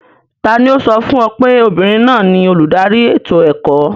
Ta ni ó sọ fún ọ pé obìnrin náà ni olùdarí ètò ẹ̀kọ́?